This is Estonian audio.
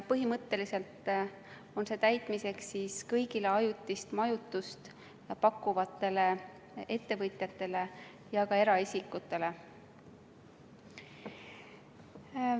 Põhimõtteliselt on see täitmiseks kõigile ajutist majutust pakkuvatele ettevõtjatele ja ka eraisikutele.